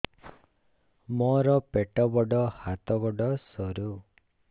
ମୋର ପେଟ ବଡ ହାତ ଗୋଡ ସରୁ